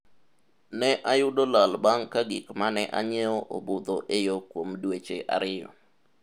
ne ayudo lal bang' ka gik mane anyiewo obudho e yoo kuom dweche ariyo